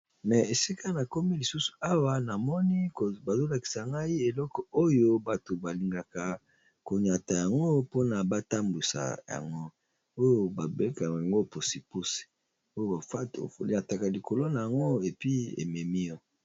esika na komi lisusu awa namoni bazolakisa ngai eloko oyo bato balingaka koniata yango mpona batambusa yango oyo babengaka yango pusupusu to velo ya muke, oyo batelemaka likolo na Yango oniati pe ememi yo liboso.